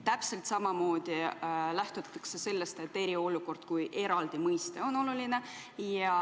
Täpselt samamoodi lähtutakse sellest, et eriolukord kui eraldi mõiste on oluline.